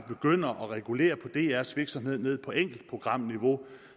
begynder at regulere drs virksomhed ned på enkeltprogramniveau